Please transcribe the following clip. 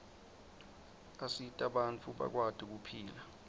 asita bantfu bakwati kuphila